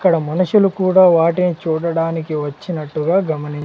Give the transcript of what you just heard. ఇక్కడ మనుషులు కూడా వాటిని చూడడానికి వచ్చినట్టుగా గమని.